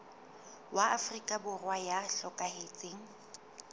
wa afrika borwa ya hlokahetseng